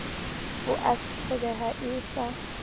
o a tshabeha e sa